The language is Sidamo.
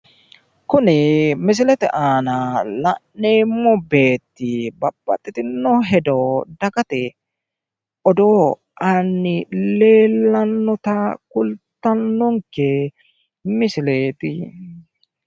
kuni misilete aana la'neemmo beeti babaxitino hedo dagate odoo anni leellannota kultannonke misileeti.